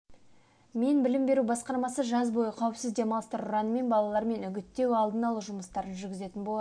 мен білім беру басқармасы жаз бойы қауіпсіз демалыстар ұранымен балармен үгіттеу-алдын алу жұмыстарын жүргізетін болады